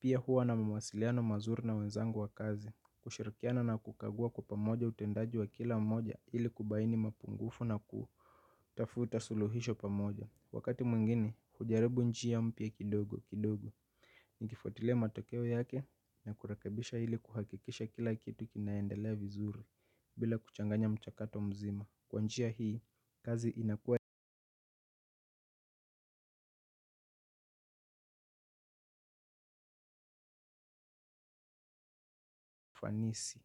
Pia huwa na mawasiliano mazuri na wenzangu wa kazi. Kushirakiana na kukagua kwa pamoja utendaji wa kila mmoja ili kubaini mapungufu na kutafuta suluhisho pamoja. Wakati mwingine, hujaribu njia mpya kidogo kidogo. Nikifuatilia matokeo yake na kurekebisha ili kuhakikisha kila kitu kinaendelea vizuri bila kuchanganya mchakato mzima. Kwa njia hii, kazi inakuwa ya nisi.